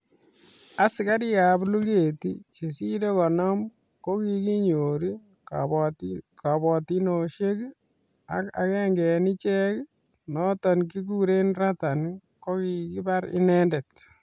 Asikarikab luget chesire konom kokinyor kabotinoshek ak agenge en ichek noton kikuren Ratan kokibar inendet